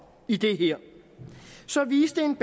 i det her så viste en